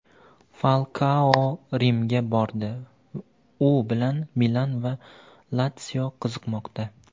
Falkao Rimga bordi – u bilan "Milan" va "Latsio" qiziqmoqda.